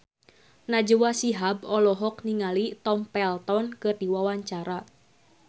Najwa Shihab olohok ningali Tom Felton keur diwawancara